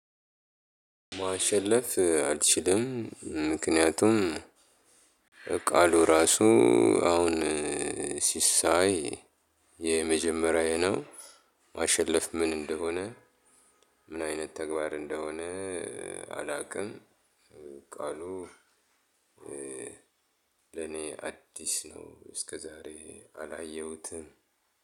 ማሸለፍ አልችልም ምክንያቱም ቃሉ ራሱ አሁን ሲ ሳይ የመጀመሪያዬ ነው። ማሸለፍ፣ ምን እንደሆነ፣ ምን አይነት ተግባር እንደሆነ አላውቅም። ቃሉ ለኔ አዲስ ነው እስከዛሬ አላየሁትም።